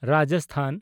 Rajasthan